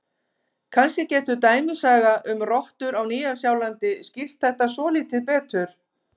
Kannski getur dæmisaga um rottur á Nýja-Sjálandi skýrt þetta svolítið betur: